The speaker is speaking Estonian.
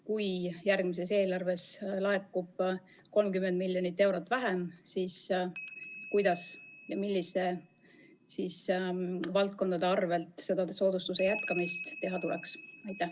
Kui järgmises eelarves laekub 30 miljonit eurot vähem, siis kuidas ja milliste valdkondade arvel soodustuse jätkamist teha tuleks?